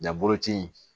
Ja boloci in